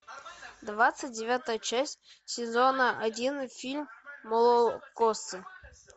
двадцать девятая часть сезона один фильма молокососы